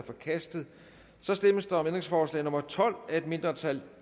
forkastet der stemmes om ændringsforslag nummer tolv af et mindretal